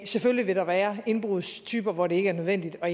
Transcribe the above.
selvfølgelig vil der være indbrudstyper hvor det ikke er nødvendigt at